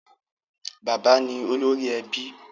Bàbá ni olórí ẹbí.